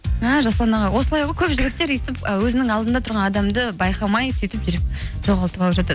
мә жасұлан аға осылай ғой көп жігіттер өйстіп і өзінің алдында тұран адамды байқамай сөйтіп жүріп жоғалтып алып жатады